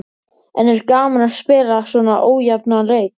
En er gaman að spila svona ójafna leiki?